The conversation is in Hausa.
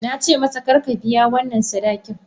Na ce masa, kar ka biya wannan sadakin!